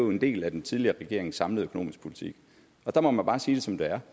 en del af den tidligere regerings samlede økonomiske politik og der må man bare sige det som det er